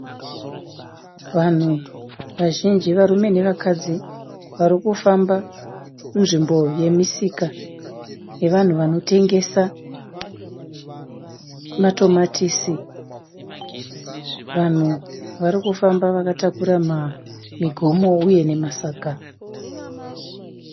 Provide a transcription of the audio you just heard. Vanhu vazhinji varume nevakadzi vari kufamba munzvimbo yemisika yevanhu vanotengesa matomatisi. Vanhu vari kufamba vakatakura migomo uye nemasaga.